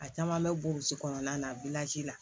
A caman bɛ burusi kɔnɔna na la